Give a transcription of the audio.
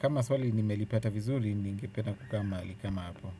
Kama swali nimelipata vizuri ningependa kukaa mahali kama hapo.